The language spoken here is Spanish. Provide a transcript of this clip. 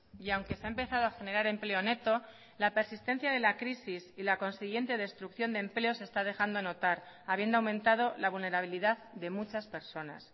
y aunque se ha empezado a generar empleo neto la persistencia de la crisis y la consiguiente destrucción de empleo se está dejando notar habiendo aumentado la vulnerabilidad de muchas personas